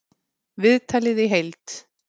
Viðtalið í heild